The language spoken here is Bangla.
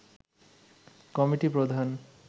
কমিটি প্রধান